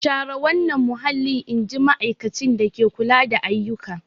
Share wannan mahallin! In ji ma'aikacin dake kula da ayyuka.